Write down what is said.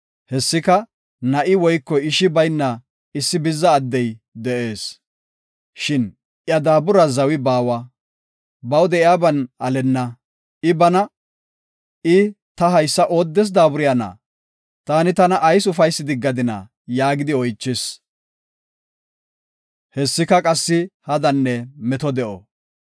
Hessika na7i woyko ishi bayna issi bizza addey de7ees. Shin iya daaburas zawi baawa; baw de7iyaban alenna. I bana, “Ta haysa ooddes daaburayna? Taani tana ayis ufaysi diggadina?” yaagidi oychis. Hessika qassi hadanne meto de7o.